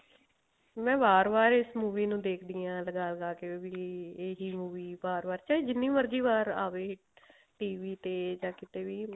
ਮੈਂ ਵਾਰ ਵਾਰ ਇਸ movie ਨੂੰ ਦੇਖਦੀ ਆ ਲਗਾ ਲਗਾ ਕੇ ਵੀ ਇਹੀ movie ਵਾਰ ਵਾਰ ਚਾਹੇ ਜਿੰਨੀ ਮਰਜ਼ੀ ਵਾਰ ਆਵੇ TV ਤੇ ਜਾਂ ਕਿਤੇ ਵੀ